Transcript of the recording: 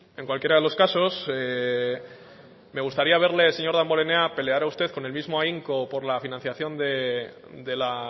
en cualquiera de los casos me gustaría verle señor damborenea pelear a usted con el mismo ahínco por la financiación de la